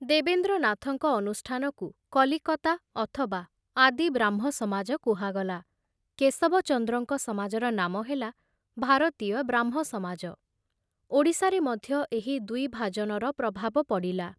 ଦେବେନ୍ଦ୍ରନାଥଙ୍କ ଅନୁଷ୍ଠାନକୁ କଲିକତା ଅଥବା ଆଦି ବ୍ରାହ୍ମ ସମାଜ କୁହାଗଲା; କେଶବଚନ୍ଦ୍ରଙ୍କ ସମାଜର ନାମ ହେଲା ଭାରତୀୟ ବ୍ରାହ୍ମ ସମାଜ ଓଡ଼ିଶାରେ ମଧ୍ୟ ଏହି ଦ୍ବିଭାଜନର ପ୍ରଭାବ ପଡ଼ିଲା।